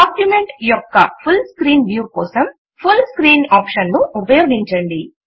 document యొక్క full screen view కోసం full screen option ను ఉపయోగించండి